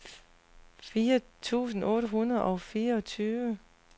fire tusind otte hundrede og fireogtyve